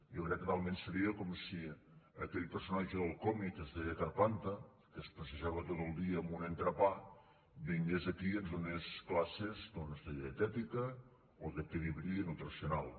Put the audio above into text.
jo crec que talment seria com si aquell personatge del còmic que es deia carpanta que es passejava tot el dia amb un entrepà vingués aquí i ens donés classes doncs de dietètica o d’equilibri nutricional